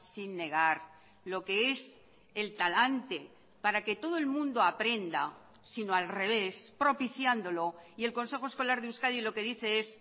sin negar lo que es el talante para que todo el mundo aprenda sino al revés propiciándolo y el consejo escolar de euskadi lo que dice es